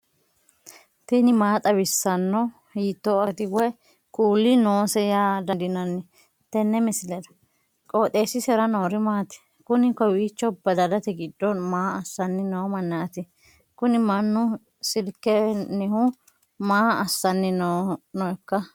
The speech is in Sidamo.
tini maa xawissanno ? hiitto akati woy kuuli noose yaa dandiinanni tenne misilera? qooxeessisera noori maati? kuni kowiicho badalate giddo maa assanni noo mannaati kuni mannu silkennihu maa assanni nooikka